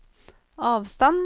avstand